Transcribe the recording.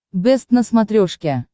бэст на смотрешке